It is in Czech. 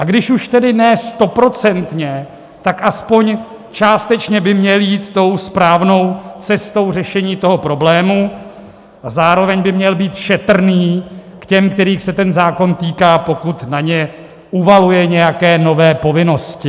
A když už tedy ne stoprocentně, tak aspoň částečně by měl jít tou správnou cestou řešení toho problému a zároveň by měl být šetrný k těm, kterých se ten zákon týká, pokud na ně uvaluje nějaké nové povinnosti.